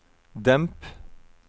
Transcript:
demp